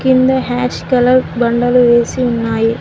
కింద ash colour బండలు వేసి ఉన్నాయి